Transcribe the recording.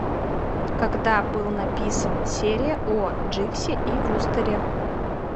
когда был написан серия о дживсе и вустере